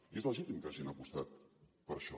i és legítim que hagin apostat per això